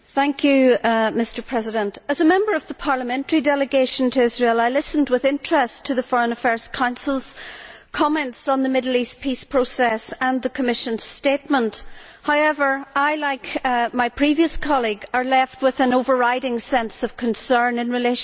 Mr President, as a member of the parliamentary delegation to Israel, I listened with interest to the Foreign Affairs Council's comments on the Middle East peace process and the Commission's statement. However, I, like my previous colleague, are left with an overriding sense of concern in relation to these.